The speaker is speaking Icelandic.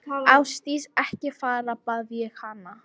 Ásdís, ekki fara, bað ég hana.